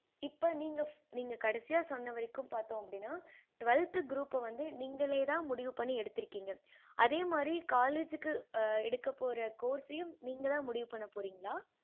இப்ப நீங்க நீங்க கடைசியா சொன்ன வரைக்கும் பார்த்தோம் அப்படின்னா twelfth group வந்து நிங்களே தான் முடிவு பண்ணி எடுத்திருகிங்க அதே மாறி college க்கு எடுக்கபோற course நீங்க தான் முடிவு பண்ண போறிங்கள